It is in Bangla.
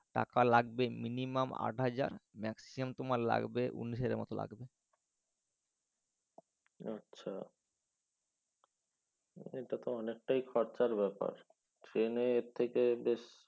টাকা লাগবে minimum আট হাজার maximum উনিশ হাজার মতন লাগবে। আচ্ছা। হ্যাঁ এটা তো অনেকটাই খরচার ব্যাপার। ট্রেনে এর থেকে